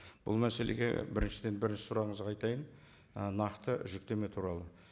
бұл мәселеге біріншіден бірінші сұрағыңызға айтайын ы нақты жүктеме туралы